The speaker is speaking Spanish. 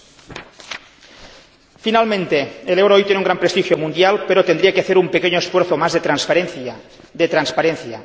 Por último, el euro hoy tiene un gran prestigio mundial, pero tendría que hacer un pequeño esfuerzo más de transparencia.